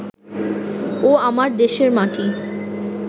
ও আমার দেশের মাটি